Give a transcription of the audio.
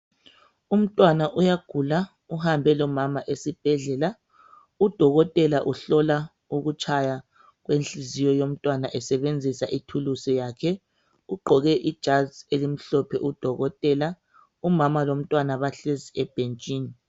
Umntwana uyagula uhambe lomama esibhedlala udokotela uhlola ukutshaya kwenhliziyo yomntwana esebenzisa ithulusi yakhe ugqoke ijazi elimhlophe udokotela. Umama lomntwana bahlezi ebhentshini.